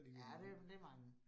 Ja det det mange